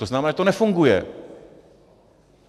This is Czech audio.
To znamená, že to nefunguje.